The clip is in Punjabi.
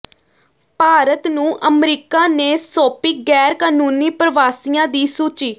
ਭਾਰਤ ਨੂੰ ਅਮਰੀਕਾ ਨੇ ਸੌਂਪੀ ਗੈਰ ਕਾਨੂੰਨੀ ਪ੍ਰਵਾਸੀਆਂ ਦੀ ਸੂਚੀ